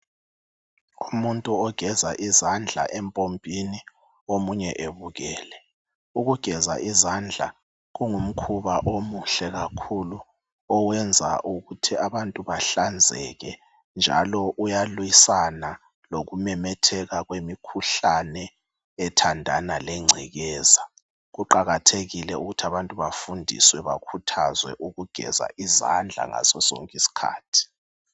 Umuntu ogeza izandla empompini omunye ebukele. Ukugeza izandla kungumkhuba omuhle kakhulu owenza ukuthi abantu bahlanzeke njalo uyalwisana lokumemetheka kwemikhuhlane ethandana lengcekeza. Kuqakathekile ukuthi abantu bafundiswe bakhuthazwe ukugeza izandla ngasosonke isikhathi.